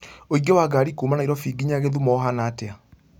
ũingĩ wa ngari kuũma Nairobi kĩnya githumo ũhaana atĩa